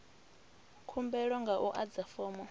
khumbelo nga u adza fomo